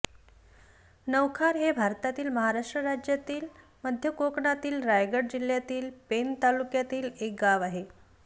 नवखार हे भारतातील महाराष्ट्र राज्यातील मध्य कोकणातील रायगड जिल्ह्यातील पेण तालुक्यातील एक गाव आहे